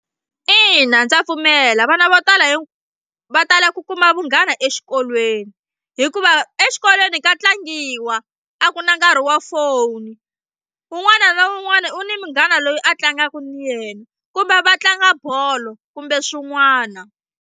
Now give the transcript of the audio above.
Ina ndza pfumela vana vo tala hi va tala ku kuma vunghana exikolweni hikuva exikolweni ka tlangiwa a ku na nkarhi wa foni un'wana na un'wana u ni munghana loyi a tlangaka na yena kumbe va tlanga bolo kumbe swin'wana.